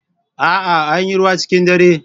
A'a, Anyi ruwa cikin dare.